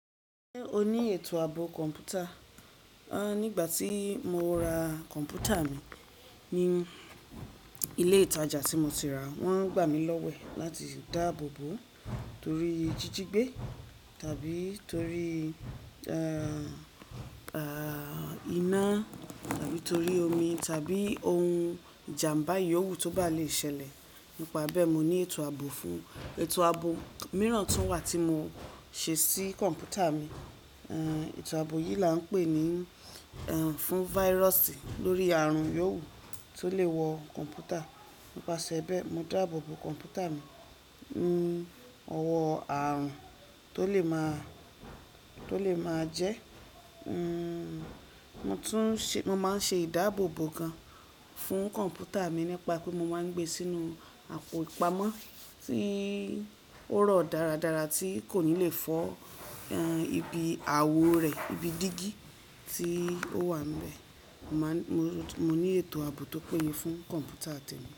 Ṣé o ní ètò ààbò kọ̀ǹpútà? Nígbà tí mo ra kọ̀ǹpútà mi ní ilé ìtajà tí mo ti ràá, wọ́n gbà mí lọ́wẹ̀ láti dáàbò bòó toríi jíjigbé tàbí torí iná, tàbí torí omi, tàbí ohun ìjàǹbá yòówù tó bá lè ṣẹlẹ̀. Nípa bẹ́ẹ̀, mo ní ètò ààbò fún-un. Ètò ààbò míràn tún wà tí mo ṣe sí kọ̀ǹpútà mi. Ètò ààbò yìí là ń pè ní, fún virus lórí ààrùn yòówù tó lè wọ kọ̀ǹpútà. Nípasẹ̀ bẹ́ẹ̀, mo dáàbò bo kọ̀ǹpútà mi, ní ọwọ́ ààrùn tó lè máa jẹ́. Mo tún ṣe, mo máa ń ṣe ìdáàbòbò gan fún kọ̀ǹpútà mi nípa pé mo máa ń gbé e sínú àpò ìpamọ́ tí ó rọ̀ dára dára tí kò ní lè fọ́, ibi àwo rẹ̀, ibi dígí tí ó wà níbẹ̀. Mo ní ètò ààbò tó péye fún kọ̀ǹpútà mi.